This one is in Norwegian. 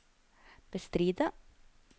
bestride